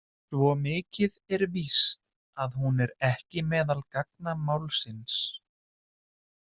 Svo mikið er víst að hún er ekki meðal gagna málsins.